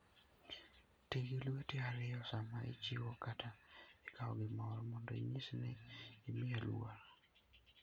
Ti gi lweti ariyo sama ichiwo kata ikawo gimoro, mondo inyis ni imiye luor.